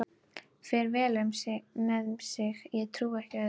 Fer vel með sig, ég trúi ekki öðru.